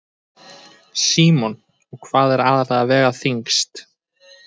Símon: Og hvað er aðallega að vega þyngst?